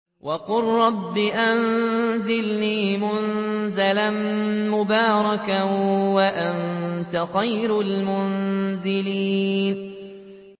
وَقُل رَّبِّ أَنزِلْنِي مُنزَلًا مُّبَارَكًا وَأَنتَ خَيْرُ الْمُنزِلِينَ